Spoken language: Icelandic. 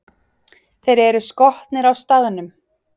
Þeir eru skotnir á staðnum!